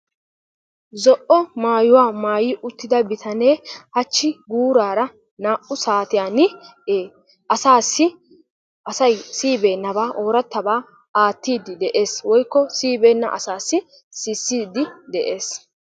zo'o maayuwa maayi uttida bitanee hachchi guurara naa'u saatiyan ee asaassi asay siyibeenabaa ooratabaa aattidi de'ees woykko asay siyibeenabaa asaassi odiidi de'ees,